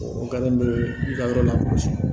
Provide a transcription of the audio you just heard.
O kalan bɛ i ka yɔrɔ lakosi